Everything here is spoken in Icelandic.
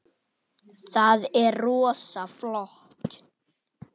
Kemur til þriðju deildar karla?